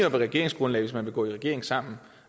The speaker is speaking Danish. et regeringsgrundlag hvis man vil gå i regering sammen